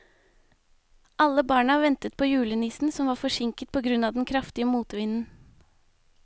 Alle barna ventet på julenissen, som var forsinket på grunn av den kraftige motvinden.